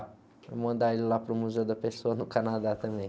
Vou mandar ele lá para o Museu da Pessoa no Canadá também.